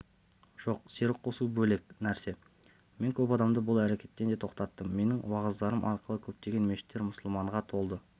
жоқ серік қосу бөлек нәрсе мен көп адамды бұл әрекеттен де тоқтаттым менің уағыздарым арқылы көптеген мешіттер мұсылманға толды